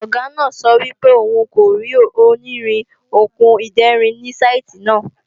Ọ̀gá náà sọ wípé òun kò rí onírin/Okùn ìderin ni saìtì náà